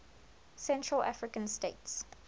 central african states